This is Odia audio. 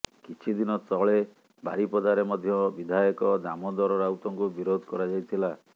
କିଛି ଦିନ ତଳେ ବାରିପଦାରେ ମଧ୍ୟ ବିଧାୟକ ଦାମୋଦର ରାଉତଙ୍କୁ ବିରୋଧ କରାଯାଇଥିଲା